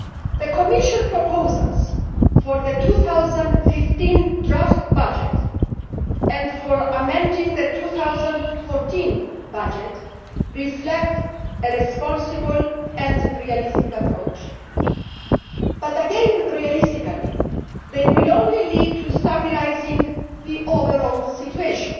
The Commission proposals for the 2015 draft budget and for amending the 2014 budget reflect a responsible and realistic approach but again, realistically, they will only lead to stabilising the overall situation.